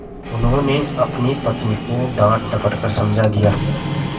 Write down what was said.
उन्होंने अपनी पत्नी को डाँटडपट कर समझा दिया